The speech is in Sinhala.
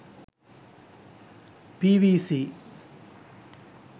pvc